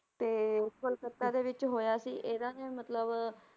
ਤੇ ਕੋਲਕੱਤਾ ਦੇ ਵਿੱਚ ਹੋਇਆ ਸੀ ਇਹਨਾਂ ਨੇ ਮਤਲਬ